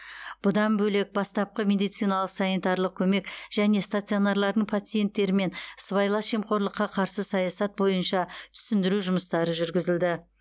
бұдан бөлек бастапқы медициналық санитарлық көмек және стационарлардың пациенттерімен сыбайлас жемқорлыққа қарсы саясат бойынша түсіндіру жұмыстары жүргізілді